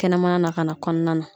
Kɛnɛmana na ka na kɔnɔna na ,